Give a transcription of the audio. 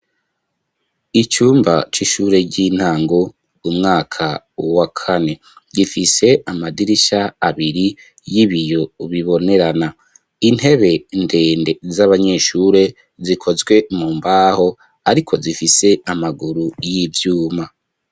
Icumba c'ishure ry'intango umwaka wa kane gifise amadirisha abiri y'ibiyo bibonerana, intebe ndende z'abanyeshure zikozwe mu mbaho ariko zifise amaguru y'ivyuma.